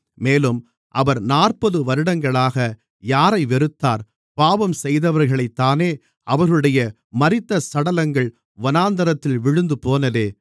மேலும் அவர் நாற்பது வருடங்களாக யாரை வெறுத்தார் பாவம் செய்தவர்களைத்தானே அவர்களுடைய மரித்த சடலங்கள் வனாந்திரத்தில் விழுந்துபோனதே